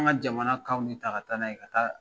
An ka jamana kanw de ta ka taa n'a ye ka taa